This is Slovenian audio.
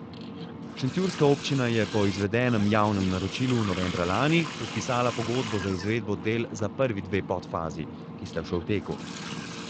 Šentjurska občina je po izvedenem javnem naročilu novembra lani podpisala pogodbo za izvedbo del za prvi dve podfazi, ki sta še v teku.